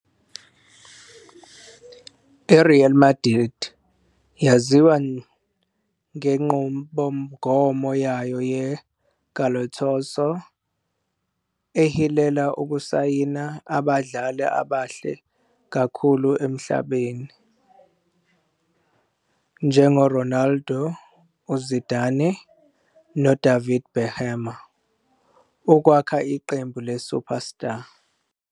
I-Real Madrid yaziwa ngenqubomgomo yayo ye-Galácticos, ehilela ukusayina abadlali abahle kakhulu emhlabeni, njengoRonaldo, uZidane, noDavid Beckham, ukwakha iqembu le-superstar.